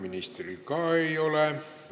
Ministril ka ei ole.